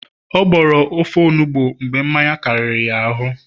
ọ gboro ofe onugbu mgbe mmanya kariri ya ahu